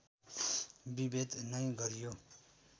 विभेद नै गरियो